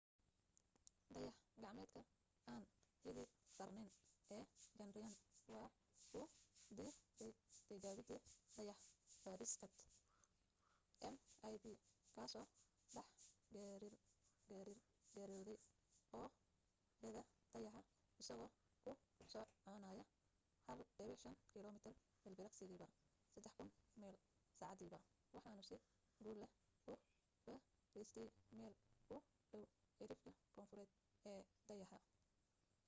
dayax gacmeedka aan cidi saarnayn ee chandrayaan waa uu diidaytijaabadii dayax fadhiisadka mip kaasoo dhex giraarngirooday oogada dayaxa isagoo ku soconaya 1.5 kilomitir ilbiriqsigiiba 3000 mile saacadiiba waxaanu si guul leh u fariistay meel u dhow cidhifka koonfureed ee dayaxa